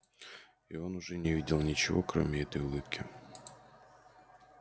и он уже не видел ничего кроме этой улыбки